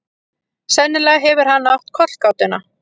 Sennilega hefur hann átt kollgátuna.